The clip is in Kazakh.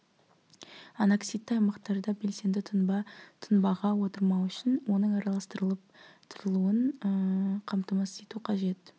аноксидті аймақтарда белсенді тұнба тұнбаға отырмау үшін оның араластырылып тұрылуын қамтамасыз ету қажет